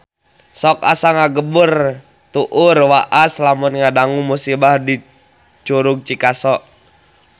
Sok asa ngagebeg tur waas lamun ngadangu musibah di Curug Cikaso